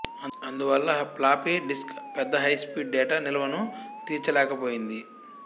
అందువల్ల floppy disk పెద్ద high speed data నిల్వను తీర్చలేకపోయింది